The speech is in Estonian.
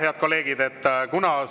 Head kolleegid!